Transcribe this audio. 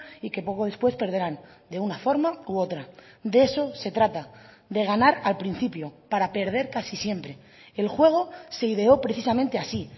y que poco después perderán de una forma u otra de eso se trata de ganar al principio para perder casi siempre el juego se ideo precisamente así